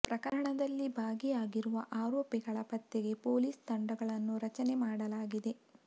ಪ್ರಕರಣದಲ್ಲಿ ಭಾಗಿ ಆಗಿರುವ ಆರೋಪಿಗಳ ಪತ್ತೆಗೆ ಪೊಲೀಸ್್ ತಂಡಗಳನ್ನು ರಚನೆ ಮಾಡಲಾಗಿದೆ